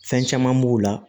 Fɛn caman b'o la